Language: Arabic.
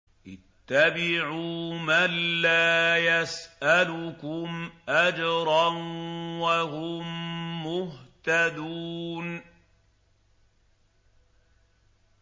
اتَّبِعُوا مَن لَّا يَسْأَلُكُمْ أَجْرًا وَهُم مُّهْتَدُونَ